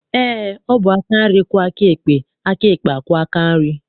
Eé, ọ bụ aka nri kwọọ aka ekpe, aka ekpe akwọọ aka nri.